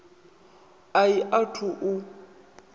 a i a thu u